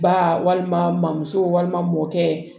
Ba walima musow walima mɔkɛ